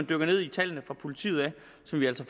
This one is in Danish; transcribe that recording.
dykker ned i tallene fra politiet som vi altså